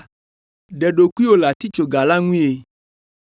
ɖe ɖokuiwò le atitsoga la ŋue!”